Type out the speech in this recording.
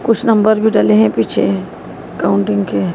कुछ नंबर भी डले हैं पीछे कॉउंटिंग के--